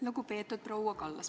Lugupeetud proua Kallas!